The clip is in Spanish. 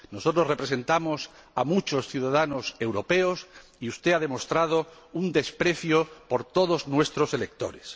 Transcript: Nosotros representamos a muchos ciudadanos europeos y usted ha demostrado un desprecio hacia todos nuestros electores.